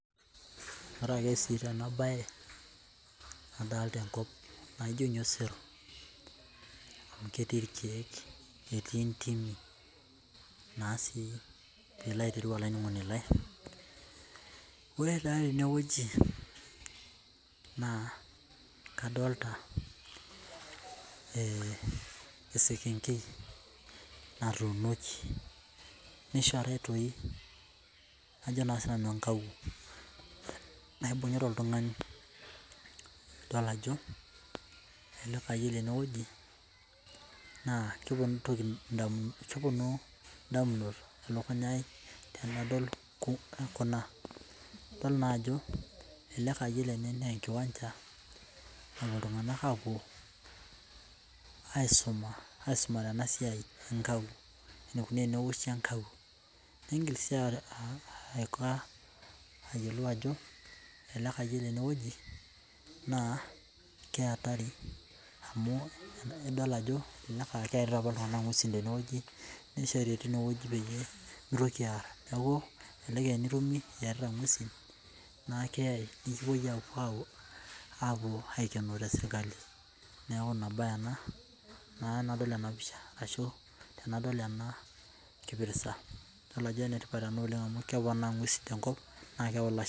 Ore si ake te ana bate nadolita enkop naa ijo ninye sero amu ketii irkiek, netii intimi naa sii piilo aitereu olainining'oni lai. Ore taa teneweji naa kadolita esekenkei natunoki, naishurutoi ajo sii nanu enkauwo naibung'ota oltungani idol ajo ore eneweji naa keponu ntokitin keponu indamunot ilakunyaai nadol kuna idol naa ajo ore ene naa enkiwanja napo iltunganak aapuo aisuma, aisumare ena siai enkawuo, eneikoni teneoshi and enkawuo, niingil sii aiko ayiolou ajo elakayioni eneweji naa keatari amu idol keari oltungani anaa inguesi teneweji, neishori teineweji peyie pemeitoki aarr naaku enetumi ieta enguesi naa keyei ekipoi apuo aikenoo te sirkali, naaku ina baye ena naa enadol enapisha ashu tenadol ana kipirta idol ajo ne kipirta naa oleng amu keponaa sii tenkop.